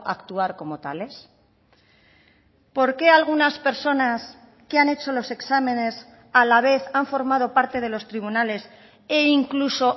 actuar como tales por qué algunas personas que han hecho los exámenes a la vez han formado parte de los tribunales e incluso